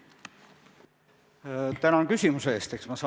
Tänan küsimuse eest!